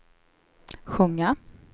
sjunga